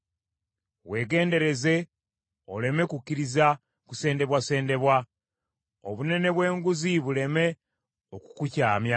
Weegendereze oleme kukkiriza kusendebwasendebwa; obunene bw’enguzi buleme okukukyamya.